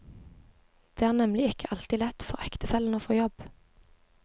Det er nemlig ikke alltid lett for ektefellen å få jobb.